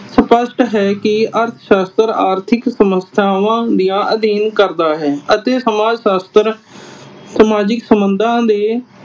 ਸਪਸ਼ਟ ਹੈ ਕਿ ਅਰਥ ਸ਼ਾਸਤਰ ਆਰਥਿਕ ਸਮੱਸਿਆਵਾਂ ਦੇ ਅਧੀਨ ਕਰਦਾ ਹੈ ਅਤੇ ਸਮਾਜ ਸ਼ਾਸਤਰ ਸਮਾਜਿਕ ਸਬੰਧਾਂ ਦੇ